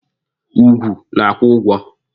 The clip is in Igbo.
Ugwu na-akwụ ụgwọ.